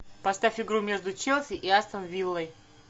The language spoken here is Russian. поставь игру между челси и астон виллой